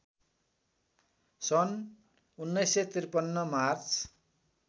सन् १९५३ मार्च